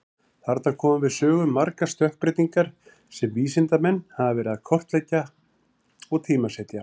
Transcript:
Þarna koma við sögu margar stökkbreytingar sem vísindamenn hafa verið að kortleggja og tímasetja.